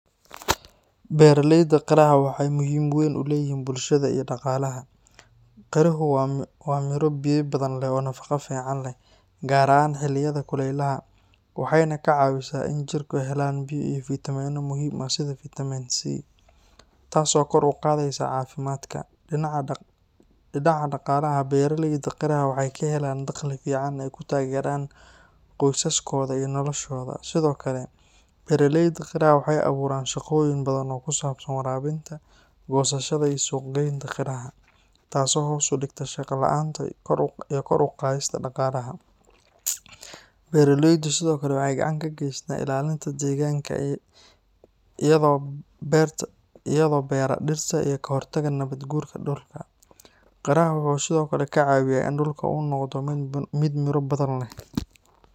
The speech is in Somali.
Beeralayda qiraha waxay muhiim u yihiin bulshada iyo dhaqaalaha. Qiruhu waa midho biyo badan leh oo nafaqo fiican leh, gaar ahaan xilliyada kuleylaha, waxayna ka caawisaa in jidhku helaan biyo iyo fiitamiinno muhiim ah sida Vitamin C, taasoo kor u qaadaysa caafimaadka. Dhinaca dhaqaalaha, beeralayda qiraha waxay ka helaan dakhli fiican oo ay ku taageeraan qoysaskooda iyo noloshooda. Sidoo kale, beeralayda qiraha waxay abuuraan shaqooyin badan oo ku saabsan waraabinta, goosashada, iyo suuq-geynta qiraha, taasoo hoos u dhigta shaqo la’aanta iyo kor u qaadista dhaqaalaha. Beeralaydu sidoo kale waxay gacan ka geystaan ilaalinta deegaanka iyagoo beera dhirta iyo ka hortaga nabaad-guurka dhulka. Qiraha wuxuu sidoo kale ka caawiyaa in dhulka uu noqdo mid miro badan leh.